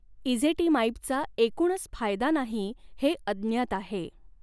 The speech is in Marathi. इझेटिमाइबचा एकूणच फायदा नाही हे अज्ञात आहे.